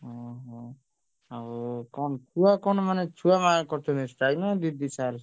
ଓହୋ, ଆଉ କଣ ଛୁଆ କଣ ମାନେ ଛୁଆ କରିଛନ୍ତି strike ନା ଦିଦି sir